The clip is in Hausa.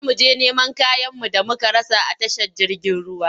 Za mu je neman kayanmu da muka rasa a tashar jirgin ruwa.